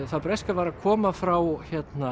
það breska var að koma frá